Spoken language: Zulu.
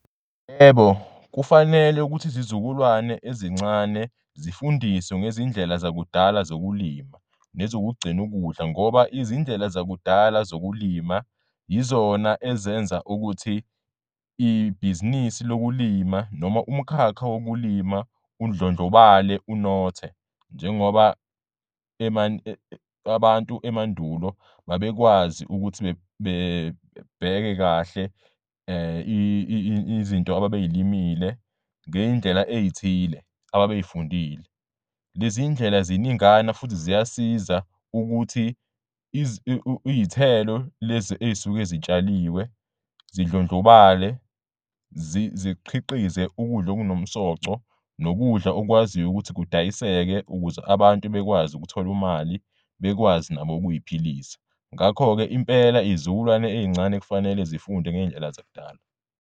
Yebo, kufanele ukuthi izizukulwane ezincane zifundiswe ngezindlela zakudala zokulima nezokugcin'ukudla ngoba izindlela zakudala zokulima yizona ezenza ukuthi ibhizinisi lokulima noma umkhakha wokulima undlondlobale unothe, njengoba abantu emandulo babekwazi ukuthi babheke kahle izinto ababeyilimile ngey'ndlela ey'thile ababeyifundile. Lezi ndlela ziningana futhi ziyasiza ukuthi iy'thelo lezi ezisuke zitshaliwe zindlondlobale ziqhikhize ukudla okunomsoco nokudla okwaziyo ukuthi kudayisekile ukuze abantu bekwazi ukuthol'imali bekwazi nabo ukuy'philisa. Ngakho-ke impela iy'zukulwane ezincane kufanele zifunde ngezindlela zakudala.